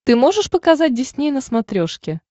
ты можешь показать дисней на смотрешке